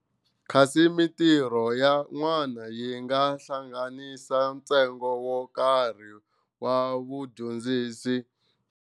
Kasi mintirho ya n'wana yi nga hlanganisa ntsengo wo karhi wa vudyondzisi.